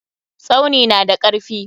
Tsauni na da karfi.